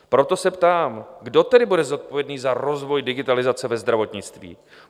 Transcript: Proto se ptám, kdo tedy bude zodpovědný za rozvoj digitalizace ve zdravotnictví?